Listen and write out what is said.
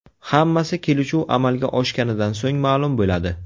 Hammasi kelishuv amalga oshganidan so‘ng ma’lum bo‘ladi.